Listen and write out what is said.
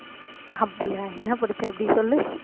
அப்படியா என்ன படிச்ச அப்படி சொல்லு.